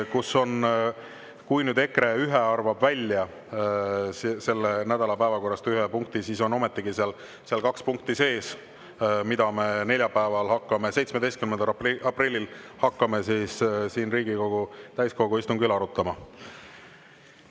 Kui nüüd EKRE ühe punkti selle nädala päevakorrast välja arvab, siis on ometigi seal sees kaks punkti, mida me hakkame neljapäeval, 17. aprillil siin Riigikogu täiskogu istungil arutama.